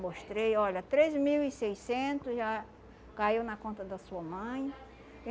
Mostrei, olha, três mil e seiscentos já caiu na conta da sua mãe.